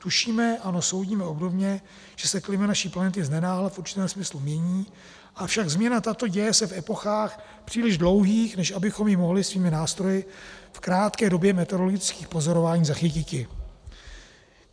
Tušíme, ano, soudíme obdobně, že se klima naší planety znenáhla v určitém smyslu mění, avšak změna tato děje se v epochách příliš dlouhých, než abychom ji mohli svými nástroji v krátké době meteorologických pozorování zachytiti.